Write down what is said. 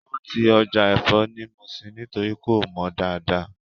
Wọ́n ti Ọjà ẹ̀fọ́ ni Muṣin nítorí kò mọ dáadáa